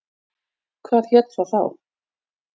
Hvað hét það þá?